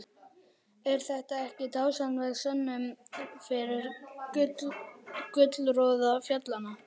Er þetta ekki dásamleg sönnun fyrir gullroða fjallanna?